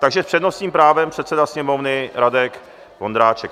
Takže s přednostním právem předseda Sněmovny Radek Vondráček.